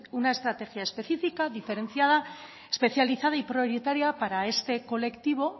una estrategia específica diferenciada especializada y prioritaria para este colectivo